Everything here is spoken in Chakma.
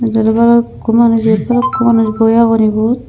eyot balukho manus eyot balukho manus boi agon ebot.